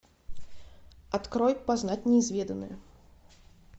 открой познать неизведанное